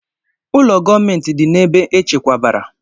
Ụlọ gọọmentị dị na ebe echekwabara.